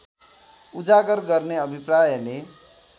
उजागर गर्ने अभिप्रायले